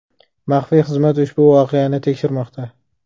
Maxfiy xizmat ushbu voqeani tekshirmoqda.